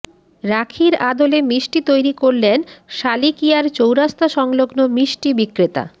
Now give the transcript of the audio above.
রাখির আদলে মিষ্টি তৈরি করলেন সালিকিয়ার চৌরাস্তা সংলগ্ন মিষ্টি বিক্রেতা